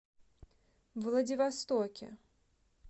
владивостоке